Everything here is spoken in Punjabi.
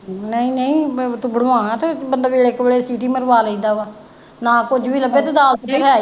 ਨਹੀਂ ਨਹੀਂ ਮੈਂ ਮਤਲਬ ਇਕ ਵਾਰੀ ਸੀਟੀ ਮਰਵਾ ਲੈਂਦਾ ਵਾ। ਮਹਾਂ ਕੁੱਝ ਵੀ ਲੱਗੇ ਤੇ ਦਾਲ ਤੇ ਹੈ ਹੀ।